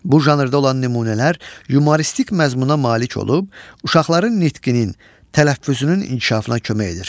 Bu janrda olan nümunələr yumoristik məzmuna malik olub, uşaqların nitqinin, tələffüzünün inkişafına kömək edir.